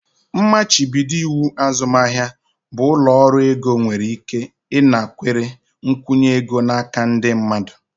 Mmachibido iwu azụmahịa bụ ụlọ ọrụ ego nwere ike ịnakwere nkwụnye ego n'aka ndị mmadụ.